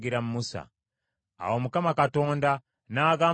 Awo Mukama Katonda n’agamba Musa nti,